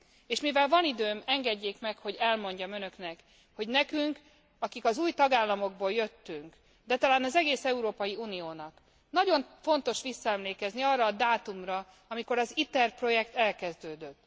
És mivel van időm, engedjék meg, hogy elmondjam Önöknek, hogy nekünk, akik az új tagállamokból jöttünk, de talán az egész Európai Uniónak nagyon fontos visszaemlékezni arra a dátumra, amikor az ITER projekt elkezdődött.